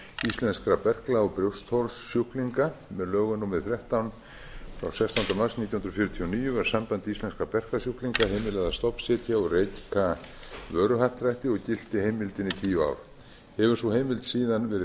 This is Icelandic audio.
íslenskra berkla og brjóstholssjúklinga með lögum númer þrettán frá sextánda mars nítján hundruð fjörutíu og níu var sambandi íslenskra berklasjúklinga heimilað að stofnsetja og reka vöruhappdrætti og gilti heimildin í tíu ár hefur sú heimild síðan verið